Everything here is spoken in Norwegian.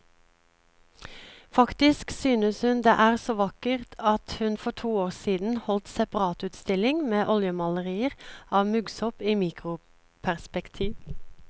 Faktisk synes hun det er så vakkert at hun for to år siden holdt separatutstilling med oljemalerier av muggsopp i mikroperspektiv.